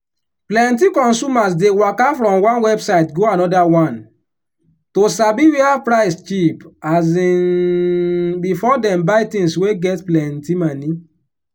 plenti consumers dey waka from one website go another one to sabi where price cheap um before them buy things wey get plenti moni.